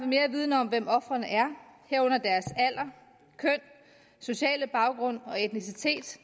mere viden om hvem ofrene er herunder deres alder køn sociale baggrund og etnicitet